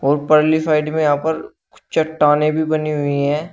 और पर्ली साइड में यहां पर कुछ चट्टानें भी बनी हुई है।